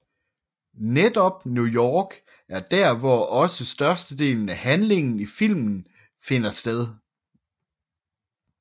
Netop i New York er dér hvor også størstedelen af handlingen i filmen finder sted